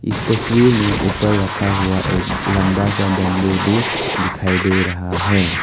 इस तस्वीर में ऊपर रखा हुआ एक लंबा सा बंबू भी दिखाई दे रहा है।